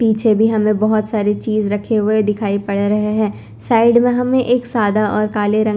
पीछे भी हमें बहोत सारी चीज रखे हुए दिखाई पड़े रहे है साइड में हमें एक सादा और काले रंग--